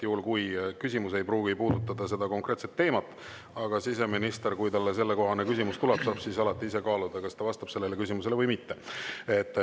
Küsimus ei pruugi puudutada seda konkreetset teemat, aga kui siseministrile sellekohane küsimus tuleb, saab ta alati ise kaaluda, kas ta vastab sellele küsimusele või mitte.